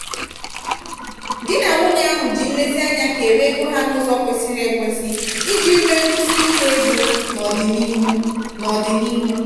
di na nwunye ọhụụ ahụ ji nlezianya kewaa ego ha n'ụzọ kwesịrị ekwesị iji nwee nkwụsiike ego n'ọdịnihu. n'ọdịnihu.